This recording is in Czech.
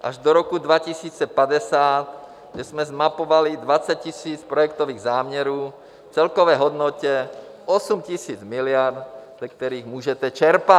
až do roku 2050, kde jsme zmapovali 20 000 projektových záměrů v celkové hodnotě 8 000 miliard, ze kterých můžete čerpat.